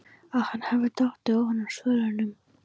Að hann hefði dottið ofan af svölunum!